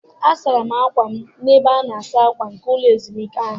Asara m akwa m n'ebe a na-asa akwa nke ụlọ ezumike ahụ.